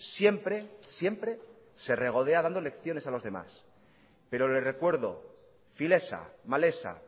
siempre siempre se regodea dando lecciones a los demás pero le recuerdo filesa malesa